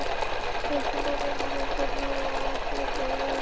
Kristján Már Unnarsson: Hvernig hafa aflabrögð verið?